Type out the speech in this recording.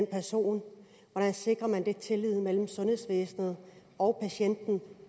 person hvordan sikrer man tilliden mellem sundhedsvæsenet og patienten